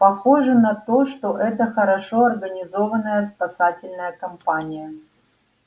похоже на то что это хорошо организованная спасательная кампания